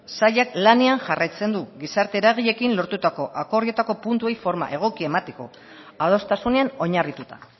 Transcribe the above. sailak lanean jarraitzen du gizarte eragileekin lortutako akordioetako puntuei forma egokia emateko adostasunean oinarrituta